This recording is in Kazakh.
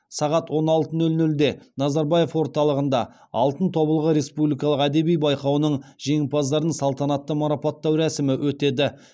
сағат он алты нөл нөлде назарбаев орталығында алтын тобылғы республикалық әдеби байқауының жеңімпаздарын салтанатты марапаттау рәсімі өтеді